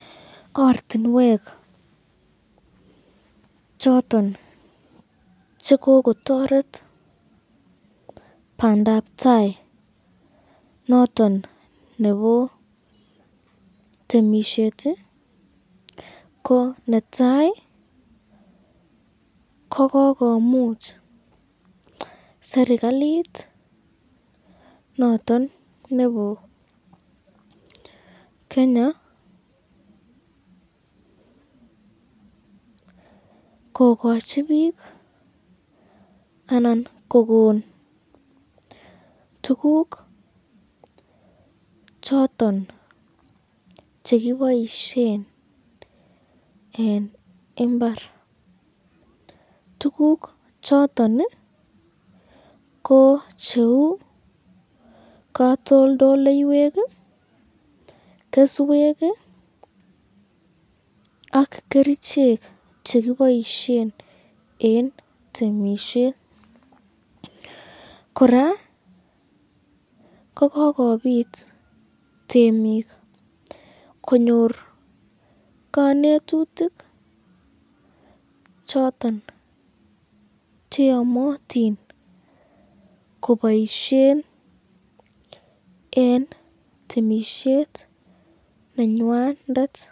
Ortinwek choton chekokotoret bandabtai noton nebo temisyet ko, netai kokikomuch serikalit noton nebo Kenya, kokochibik anan kokon tukuk choton chekiboisyen eng imbar, tukuk choton ko cheu katoldoloiywek, keswek ak kerichek chekiboisyen eng temisyet, koraa ko kikobit temik konyor kanetutuk choton cheamatin koboisyen eng temisyet nenywandet.